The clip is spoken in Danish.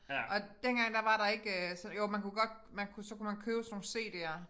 Og dengang der var der ikke øh så jo man kunne godt man kunne så kunne man købe sådan nogle cd'er